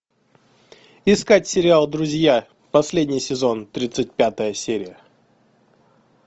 искать сериал друзья последний сезон тридцать пятая серия